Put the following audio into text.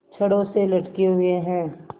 छड़ों से लटके हुए हैं